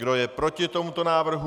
Kdo je proti tomuto návrhu?